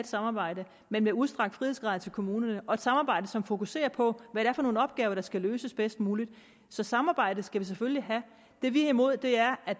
samarbejde men med udstrakte frihedsgrader til kommunerne og et samarbejde som fokuserer på hvad det er for nogle opgaver der skal løses bedst muligt så samarbejde skal vi selvfølgelig have det vi er imod er at